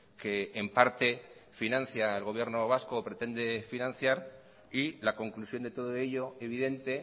que en parte financia el gobierno vasco o pretende financiar y la conclusión de todo ello evidente